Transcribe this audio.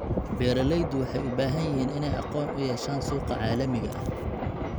Beeralayda waxay u baahan yihiin inay aqoon u yeeshaan suuqa caalamiga ah.